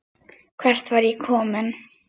Hvert var ég kominn?